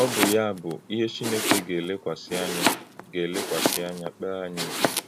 Ọ̀ bụ́ yá bụ́ íhè Chínèkè gà-èlèkwàsị́ ànyà gà-èlèkwàsị́ ànyà kpèé ànyí íkpé.